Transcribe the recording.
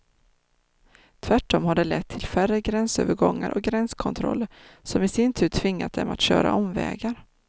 Tvärtom har det lett till färre gränsövergångar och gränskontroller, som i sin tur tvingat dem att köra omvägar.